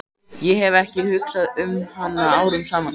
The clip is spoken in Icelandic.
Ég hef ekki hugsað um hana árum saman.